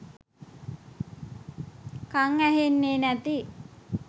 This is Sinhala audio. කං ඇහෙන්නෙ නැති